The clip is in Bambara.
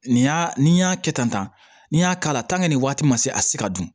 Nin y'a ni n y'a kɛ tan n y'a k'a la nin waati ma se a se ka dun